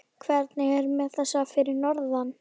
Hvernig er með þessa fyrir norðan?